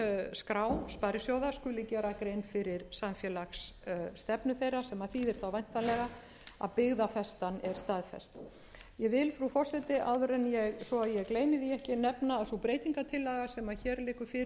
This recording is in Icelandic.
skuli gera grein fyrir samfélagsstefnu þeirra sem þýðir þá væntanlega að byggðafestan er staðfest ég vil frú forseti svo að ég gleymi því ekki nefna að sú breytingartillaga sem hér liggur fyrir og sú sem hér stendur er skrifuð fyrir er